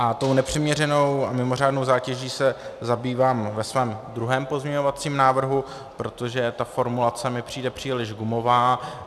A tou nepřiměřenou a mimořádnou zátěží se zabývám ve svém druhém pozměňovacím návrhu, protože ta formulace mi přijde příliš gumová.